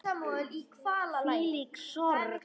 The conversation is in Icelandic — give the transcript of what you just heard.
Hvílík sorg.